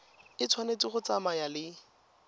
e tshwanetse go tsamaya le